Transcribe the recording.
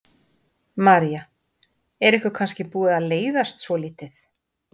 María: Er ykkur kannski búið að leiðast svolítið?